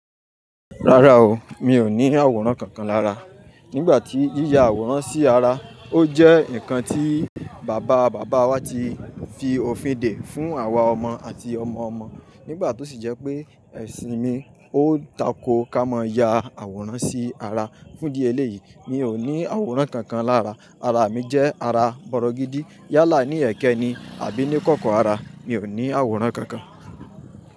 Rárá o, mi ò ní àwòrán kankan lára. Nígbà tí yíya àwòrán sí ara, ó jẹ́ ǹkan tí bàbá bàbá wa ti fi òfin dè fún àwa ọmọ àti ọmọ ọmọ. Nígbà tó sì jẹ́ pé ẹ̀sìn mi ó tako ká mọ ya àwòrán sí ara. Fún ìdí eléyìí, mi ò ní àwòrán kankan lára. Ara mi jẹ́ ara bọ̀rọ̀ gidi. Yálà ní ẹ̀kẹ́ ni àbí ní kọ̀kọ̀ ara. Mi ò ní àwòrán kankan.